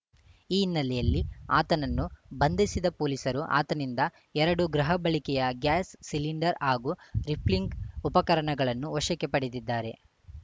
ಈ ಹಿನ್ನೆಲೆಯಲ್ಲಿ ಆತನನ್ನು ಬಂಧಿಸಿದ ಪೊಲೀಸರು ಆತನಿಂದ ಎರಡು ಗೃಹಬಳಕೆಯ ಗ್ಯಾಸ್‌ ಸಿಲಿಂಡರ್‌ ಹಾಗೂ ರಿಫಿಲ್ಲಿಂಗ್‌ ಉಪಕರಣಗಳನ್ನು ವಶಕ್ಕೆ ಪಡೆದಿದ್ದಾರೆ